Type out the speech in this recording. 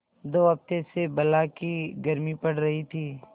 दो हफ्ते से बला की गर्मी पड़ रही थी